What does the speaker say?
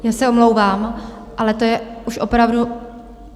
Já se omlouvám, ale to je už opravdu...